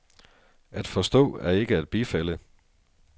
At forstå er ikke at bifalde.